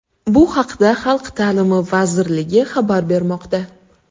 Bu haqda Xalq ta’limi vazirligi xabar bermoqda .